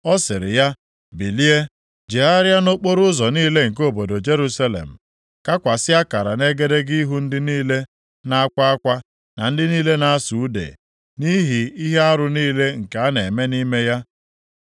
ọ sịrị ya, “Bilie, jegharịa nʼokporoụzọ niile nke obodo Jerusalem, kakwasị akara nʼegedege ihu ndị niile na-akwa akwa na ndị niile na-asụ ude nʼihi ihe arụ niile nke a na-eme nʼime ya.”